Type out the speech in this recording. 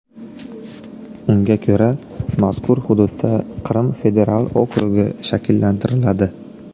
Unga ko‘ra, mazkur hududda Qrim federal okrugi shakllantiriladi.